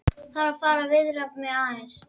Þarf að fara að viðra mig aðeins.